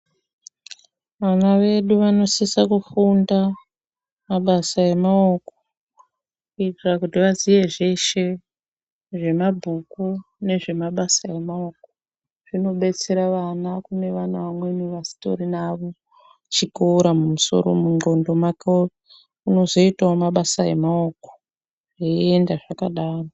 Vana vedu vanosisa kufunda mabasa emaoko kuitira kuti vaziye zveshe zvemabhuku nezvemabasa emaoko. Zvinodetsera vana kune vantu vamweni vasitorina chikoro mumusoro, mundxondo dzavo, vanozoitawo mabasa emaoko zveienda zvakadaro.